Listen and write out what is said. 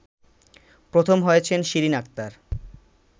প্রথম হয়েছেন শিরিন আক্তার